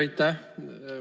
Aitäh!